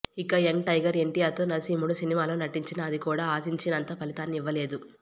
ఇక young tiger NTR తో నరసింహుడు సినిమాలో నటించినా అది కూడా ఆశించినంత ఫలితాన్ని ఇవ్వలేదు